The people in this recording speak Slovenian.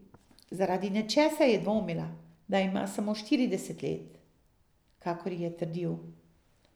Zaradi nečesa je dvomila, da ima samo štirideset let, kakor je trdil.